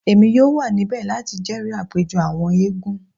Emi yoo wa nibẹ lati jẹri apejọ awọn eégún